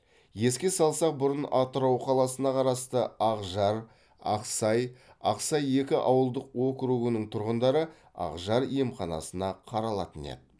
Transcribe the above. еске салсақ бұрын атырау қаласына қарасты ақжар ақсай ақсай екі ауылдық округының тұрғындары ақжар емханасына қаралатын еді